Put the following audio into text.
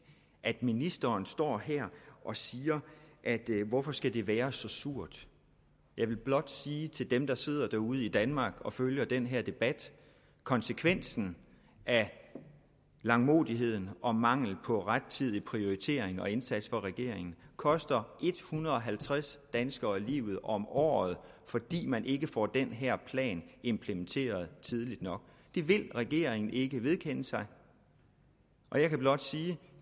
at ministeren står her og siger hvorfor skal det være så surt jeg vil blot sige til dem der sidder ude i danmark og følger den her debat at konsekvensen af langmodigheden og mangelen på rettidig prioritering og indsats fra regeringen koster en hundrede og halvtreds danskere livet om året fordi man ikke får den her plan implementeret tidligt nok det vil regeringen ikke vedkende sig og jeg kan blot sige at